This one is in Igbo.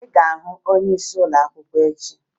Ị ga-aga hụ onyeisi ụlọakwụkwọ echi!